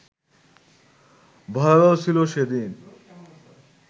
ভয়াবহ ছিল সেদিন